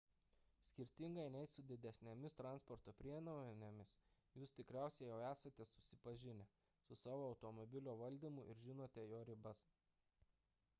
skirtingai nei su didesnėmis transporto priemonėmis jūs tikriausiai jau esate susipažinę su savo automobilio valdymu ir žinote jo ribas